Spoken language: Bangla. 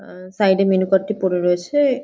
অ্যা অ্যা সাইড এ মেনু কার্ড টি পরে রয়েছে।